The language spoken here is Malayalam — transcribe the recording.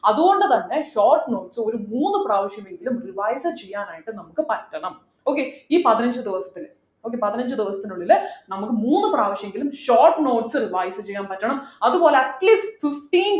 അതുകൊണ്ടുതന്നെ short notes ഒരു മൂന്നു പ്രാവശ്യമെങ്കിലും revise ചെയ്യാനായിട്ട് നമുക്ക് പറ്റണം okay ഈ പതിനഞ്ചു ദിവസത്തില് okay പതിനഞ്ചു ദിവസത്തിനുള്ളിൽ നമുക്ക് മൂന്നുപ്രാവശ്യമെങ്കിലും short notes revise ചെയ്യാൻ പറ്റണം അതുപോലെ atleast fifteen